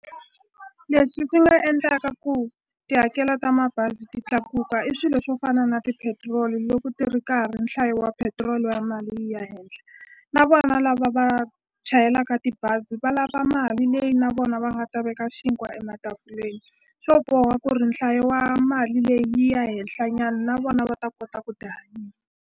Leswi swi nga endlaka ku tihakelo ta mabazi ti tlakuka i swilo swo fana na tipetiroli loko ti ri ka ha ri nhlayo wa petiroli wa mali yi ya henhla na vona lava va a chayelaka tibazi va lava mali leyi na vona va nga ta veka xinkwa e matafuleni swo boha ku ri nhlayo wa mali leyi yi ya henhla nyana na vona va ta kota ku tihanyisa.